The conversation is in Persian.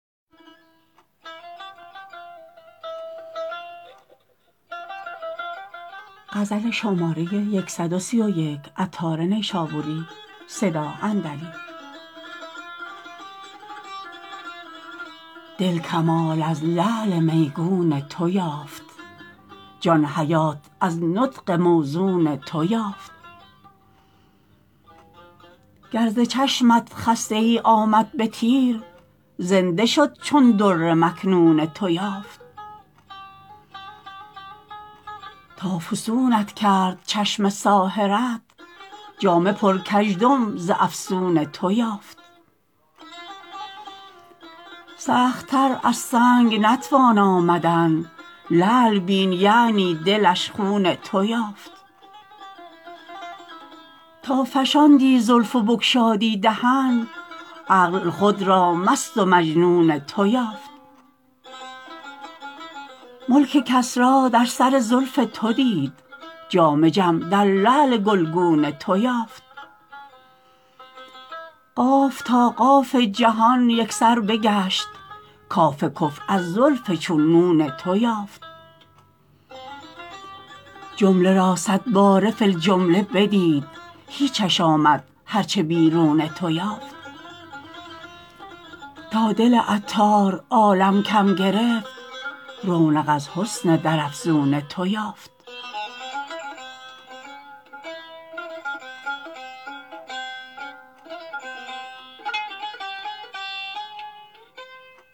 دل کمال از لعل میگون تو یافت جان حیات از نطق موزون تو یافت گر ز چشمت خسته ای آمد به تیر زنده شد چون در مکنون تو یافت تا فسونت کرد چشم ساحرت جامه پر کژدم ز افسون تو یافت سخت تر از سنگ نتوان آمدن لعل بین یعنی دلش خون تو یافت تا فشاندی زلف و بگشادی دهن عقل خود را مست و مجنون تو یافت ملک کسری در سر زلف تو دید جام جم در لعل گلگون تو یافت قاف تا قاف جهان یکسر بگشت کاف کفر از زلف چون نون تو یافت جمله را صدباره فی الجمله بدید هیچش آمد هرچه بیرون تو یافت تا دل عطار عالم کم گرفت رونق از حسن در افزون تو یافت